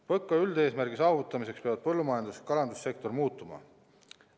PõKa üldeesmärgi saavutamiseks peavad põllumajandus- ja kalandussektor muutuma.